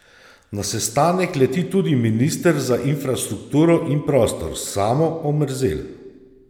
Na sestanek leti tudi minister za infrastrukturo in prostor Samo Omerzel.